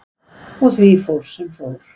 Og því fór sem fór.